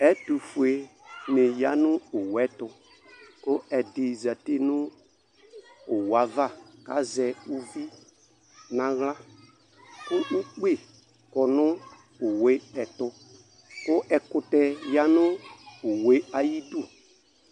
Ɛtufue dini yanu owu ɛtu ku ɛdi zati nu owu ava azɛ uvi naɣla ku ʊkpi kɔnu owu ɛtu ku ɛkutɛ yanu owu ayi d